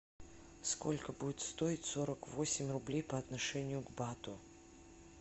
сколько будет стоить сорок восемь рублей по отношению к бату